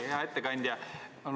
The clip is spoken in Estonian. Hea ettekandja!